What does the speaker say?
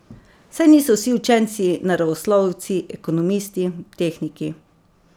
Saj niso vsi učenci naravoslovci, ekonomisti, tehniki.